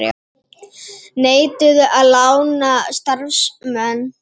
Neituðu að lána starfsmenn